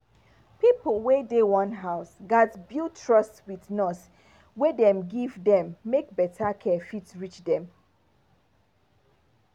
pipo wey dey one house gats build trust with the nurse wey dem give dem make better care fit reach dem.